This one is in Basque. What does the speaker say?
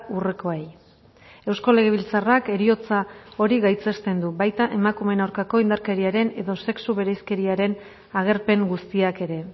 urrekoei eusko legebiltzarrak heriotza hori gaitzesten du baita emakumeen aurkako indarkeriaren edo sexu bereizkeriaren agerpen guztiak ere